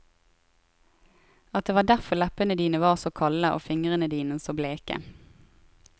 At det var derfor leppene dine var så kalde og fingrene dine så bleke.